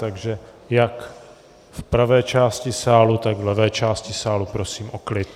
Takže jak v pravé části sálu, tak v levé části sálu prosím o klid.